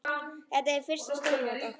Þetta er fyrsta stórmót okkar.